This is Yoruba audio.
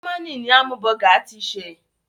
Jamaní ni hámúbọgà ti ṣẹ̀.